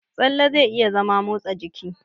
Tsalle zai iya zama motsa jiki.